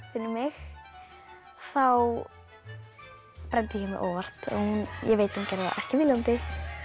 fyrir mig þá brenndi ég mig óvart ég veit hún gerði það ekki viljandi